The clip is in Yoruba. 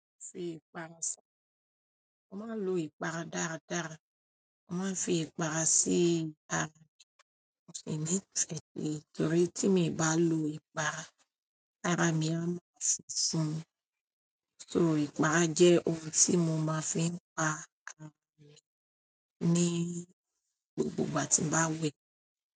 Fi ìpa mo máa ń lo ìpara dáadáa. Mo máa ń fi ìpara sí ara mi. Mo sì ni ìfẹ́ sí torí tí mi bá lo ìpara, ara mi a máa funfun. Nítorí ìpara jẹ́ ohun tí mo máa ń fi pa ara mi ní gbogbo ìgbà tí mo bá wẹ̀.